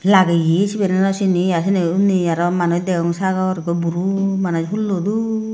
lageye sibere nw sini a seni unni manus degong sagor ikko buro manus hullo dup.